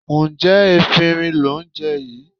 Ǹjẹ́ efinrin lò ń jẹ yìí?